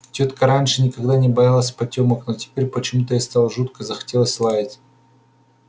тётка раньше никогда не боялась потёмок но теперь почему-то ей стало жутко захотелось лаять